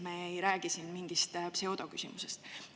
Me ei räägi siin mingist pseudoküsimusest.